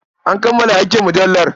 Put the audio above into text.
An kammala aikin mujallar.